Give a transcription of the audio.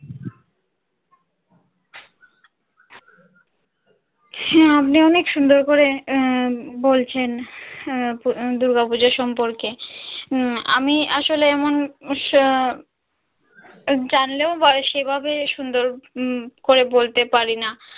হ্যাঁ আপনি অনেক সুন্দর করে বলছেন দূর্গাপূজা সম্পর্কে আমি আসলে এমন জানলেও বা সেভাবে সুন্দর করে বলতে পারি না।